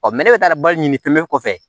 ne bɛ taa bali ni tonlen kɔfɛ